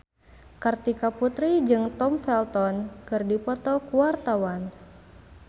Kartika Putri jeung Tom Felton keur dipoto ku wartawan